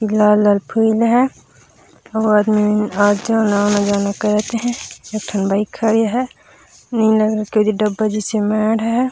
लाल लाल फूल हे अऊ आदमी मन आत आना जाना करत हे एक ठो बाइक खड़े हे नीला रंग के एदे डब्बा जइसे माड़ हे।